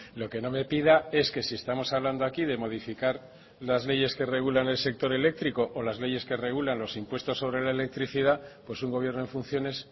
lo que no me pida es que si estamos hablando aquí de modificar las leyes que regulan el sector eléctrico o las leyes que regulan los impuestos sobre la electricidad pues un gobierno en funciones